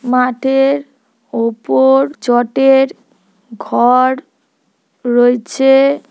মাঠের ওপর চটের ঘর রয়েছে।